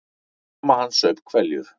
Mamma hans saup hveljur.